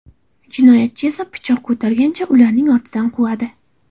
Jinoyatchi esa pichoq ko‘targancha ularning ortidan quvadi.